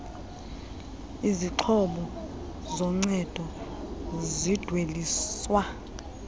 izixhobo zoncedo zidweliswa